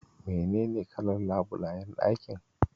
Menene kalar labulayen ɗakin?